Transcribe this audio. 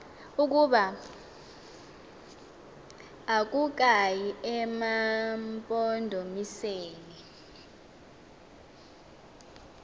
ukuba akukayi emampondomiseni